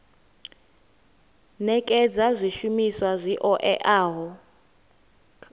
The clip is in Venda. nekedza zwishumiswa zwi oeaho kha